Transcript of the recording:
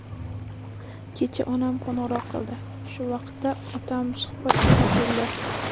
Kecha onam qo‘ng‘iroq qildi, shu vaqtda otam suhbatga qo‘shildi.